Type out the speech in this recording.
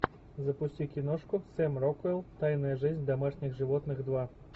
запусти киношку сэм рокуэлл тайная жизнь домашних животных два